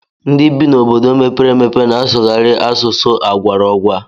Ndị bi n'obodo mepere emepe na-asụkarị asụsụ agwaraọgwa